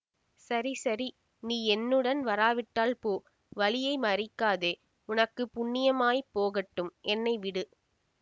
சரி சரி நீ என்னுடன் வராவிட்டால் போ வழியை மறிக்காதே உனக்கு புண்ணியமாய்ப் போகட்டும் என்னை விடு